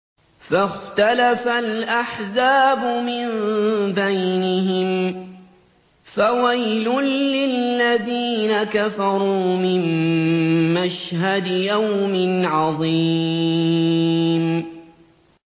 فَاخْتَلَفَ الْأَحْزَابُ مِن بَيْنِهِمْ ۖ فَوَيْلٌ لِّلَّذِينَ كَفَرُوا مِن مَّشْهَدِ يَوْمٍ عَظِيمٍ